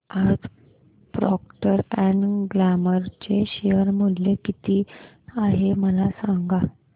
आज Procter and Gamble चे share मूल्य किती आहे मला सांगा